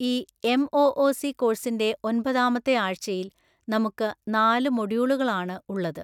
ഈ എം.ഒ.ഒ.സി. കോഴ്സിന്റെ ഒൻപതാമത്തെ ആഴ്ചയിൽ നമ്മുക്ക് നാല് മോഡ്യൂളുകൾആണ് ഉള്ളത്.